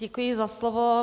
Děkuji za slovo.